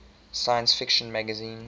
science fiction magazine